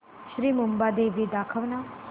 श्री मुंबादेवी दाखव ना